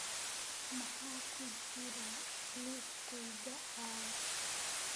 maxaa ku jira liiskayga caawa